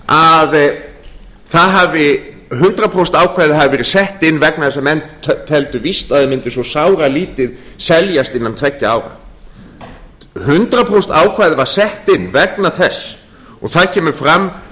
að hundrað prósent ákvæðið hafi verið sett inn vegna þess að menn teldu víst að þeir mundu svo sáralítið seljast innan tveggja ára hundrað prósent ákvæðið var sett inn vegna þess og það kemur fram